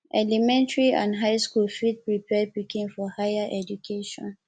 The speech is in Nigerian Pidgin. elementary and high school fit prepare pikin for higher education